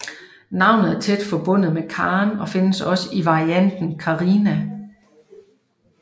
Navnet er tæt forbundet med Karen og findes også i varianten Carina